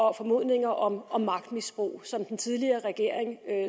og formodninger om om magtmisbrug som den tidligere regering